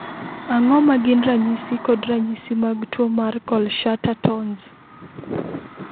Ang'o ma gin ranyisi kod ranyisi mag tuwo mar Kohlschutter Tonz?